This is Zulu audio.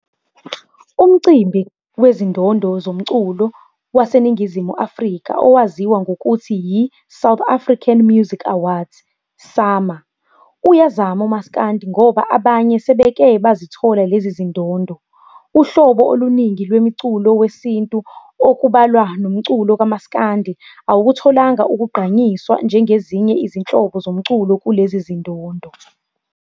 Umcimbi wezindondo zomculo waseNingizimu Afrika owaziwa ngokuthi yi-"South African Music Awards, SAMA", uyazama omaiskandi ngoba abanye sebeka basizithola lezi zindondo. Uhlobo uluningi lwemiculo wesintu okubalwa nomculo kamasikandi awukutholi ukugqanyiswa njengezinye izinhlobo zomculo kulezi zindondo.